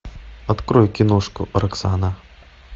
открой киношку роксана